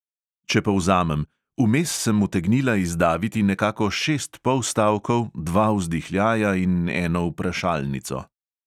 Če povzamem: vmes sem utegnila izdaviti nekako šest polstavkov, dva vzdihljaja in eno vprašalnico.